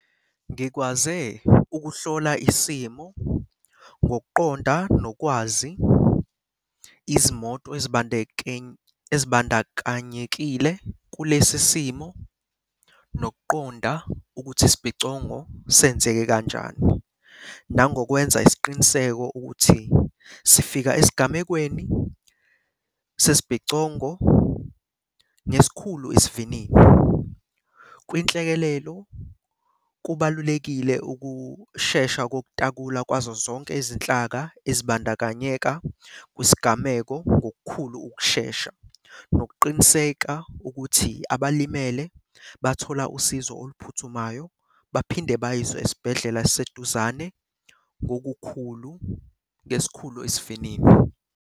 Ngikwaze ukuhlola isimo ngokuqonda nokwazi izimoto ezibandakanyekile kulesi simo nokuqonda ukuthi isibhicongo senzeke kanjani. Nangokwenza isiqiniseko ukuthi sifika esigamekweni sesibhicongo ngesikhulu isivinini. Kwinhlekelelo kubalulekile ukushesha kokutakula kwazo zonke izinhlaka ezibandakanyeka kwisigameko ngokukhulu ukushesha nokuqiniseka ukuthi abalimele bathola usizo oluphuthumayo, baphinde bayiswe esibhedlela esiseduzane ngokukhulu ngesikhulu isivinini.